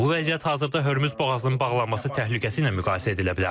Bu vəziyyət hazırda Hörmüz boğazının bağlanması təhlükəsi ilə müqayisə edilə bilər.